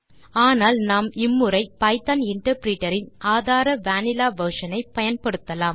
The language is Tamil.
ஆனால் நாம் இம்முறை பைத்தோன் இன்டர்பிரிட்டர் இன் ஆதார வனில்லா வெர்ஷன் ஐ பயன்படுத்தலாம்